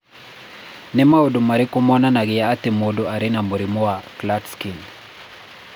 Nĩ maũndũ marĩkũ monanagia atĩ mũndũ arĩ na mũrimũ wa Klatskin?